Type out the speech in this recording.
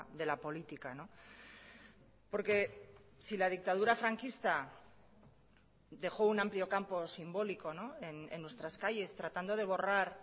de la política porque si la dictadura franquista dejó un amplio campo simbólico en nuestras calles tratando de borrar